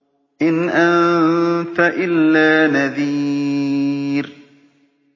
إِنْ أَنتَ إِلَّا نَذِيرٌ